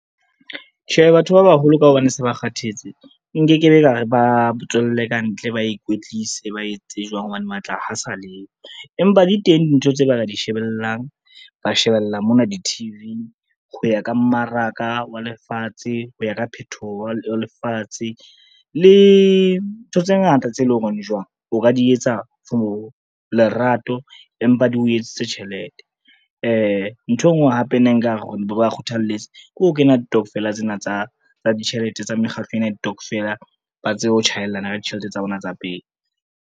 Tjhe, batho ba baholo ka hobane se ba kgathetse, nke ke be kare ba tswelle kantle, ba ikwetlise ba etse jwang hobane matla ha sa leyo, empa di teng dintho tseo ba ka di shebellang, ba shebella mona di-T_V-ng. Ho ya ka mmaraka wa lefatshe, ho ya ka phethoho wa lefatshe le ntho tse ngata tse leng hore jwang o ka di etsa for lerato empa di o etsetse tjhelete. Ntho e ngwe hape ne nkare re ba kgothalletse ke ho kena ditokofela tsena tsa ditjhelete tsa mekgatlo ena ya ditokofela, ba tsebe ho chaelana ka ditjhelete tsa bona tsa pei.